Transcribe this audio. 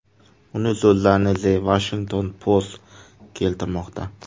Uning so‘zlarini The Washington Post keltirmoqda .